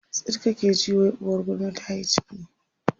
tsit kake ji wai uwar gulma tayi ciki